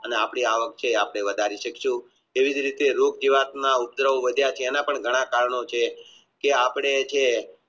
અને આપણી આવક છે એ અપને વધારી શકશું એવી જ રીતે કાં એ એના પણ વધારે કારણો છે આપણે જે